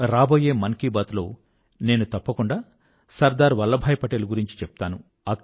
రాబోయే మన్ కీ బాత్ లో నేను తప్పకుండా సర్దార్ వల్లభాయ్ పటేల్ గురించి చెప్తాను